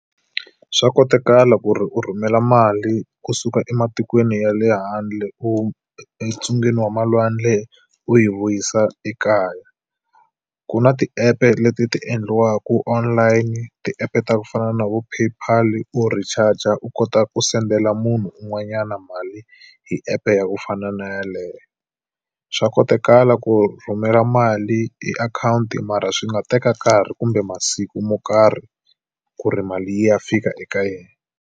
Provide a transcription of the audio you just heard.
Swa kotakala ku ri u rhumela mali kusuka ematikweni ya le handle u entsungeni wa malwandle u yi vuyisa ekaya. Ku na ti-app-e leti ti endliwaka online ti-app-e ta ku fana na vo PayPal, u ri charger-a, u kota ku send-ela munhu un'wanyana mali hi app-e ya ku fana na yeleyo. Swa kotakala ku rhumela mali i akhawunti mara swi nga teka nkarhi kumbe masiku mo karhi ku ri mali yi ya fika eka yena.